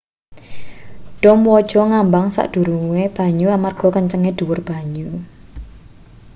dom waja ngambang sak dhuwure banyu amarga kencenge dhuwur banyu